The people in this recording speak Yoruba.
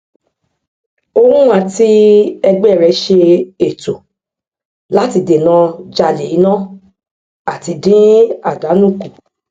gbogbo èrè tí gbogbo èrè tí ó wọlé ní àkókò kan farahan nínú àṣùwòn àwọn ìmowòwọlé alábàáṣiṣépò